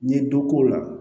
N ye dɔ k'o la